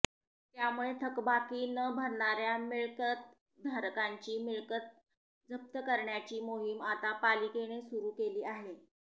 त्यामुळे थकबाकी न भरणाऱ्या मिळकतधारकांची मिळकत जप्त करण्याची मोहीम आता पालिकेने सुरु केली आहे